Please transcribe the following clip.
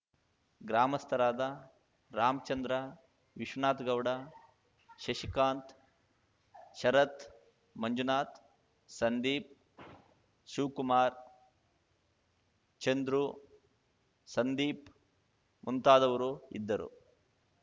ಗ್ರಾಮಸ್ಥರಾದ ರಾಮ್ ಚಂದ್ರ ವಿಶ್ವನಾಥ್ ಗೌಡ ಶಶಿಕಾಂತ್‌ ಶರತ್‌ ಮಂಜುನಾಥ್‌ ಸಂದೀಪ್‌ ಶಿವ್ ಕುಮಾರ್‌ ಚಂದ್ರು ಸಂದೀಪ್‌ ಮುಂತಾದವರು ಇದ್ದರು